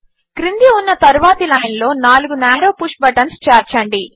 క్రింద ఉన్న తరువాతి లైన్లో 4 న్యారో పుష్ బటన్స్ చేర్చండి